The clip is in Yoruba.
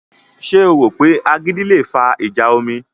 Ṣé o rò pé agídí le fa ìjà omi?